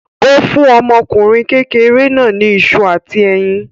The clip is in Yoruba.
Ó fún ọmọkùnrin kékeré náà ní iṣu àti ẹyin.